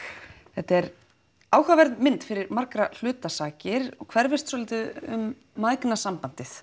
þetta er áhugaverð mynd fyrir margra hluta sakir hún hverfist svolítið um